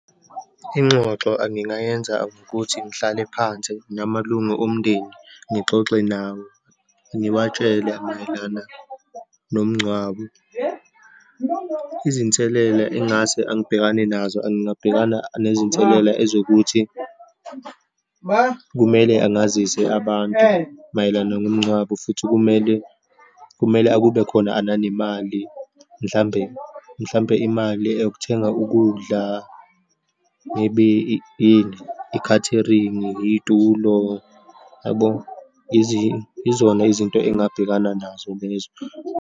Ingxoxo angingayenza ukuthi ngihlale phansi namalungu omndeni, ngixoxe nawo, ngiwatshele mayelana nomngcwabo. Izinselela engase angibhekane nazo, angabhekana nezinselela ezokuthi, kumele angazise abantu mayelana ngomngcwabo, futhi kumele, kumele akube khona ananemali, mhlambe, mhlampe imali yokuthenga ukudla, maybe yini, i-catering, iy'tulo yabo. Yizona izinto engingabhekana nazo lezo.